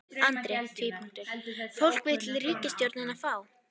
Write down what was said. Andri: Fólk vill ríkisstjórnina frá?